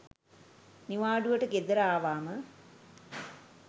නිවාඩුවට ගෙදර ආවම